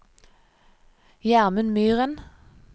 Gjermund Myren